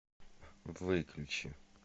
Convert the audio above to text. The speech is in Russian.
выключи